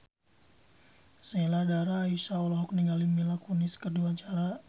Sheila Dara Aisha olohok ningali Mila Kunis keur diwawancara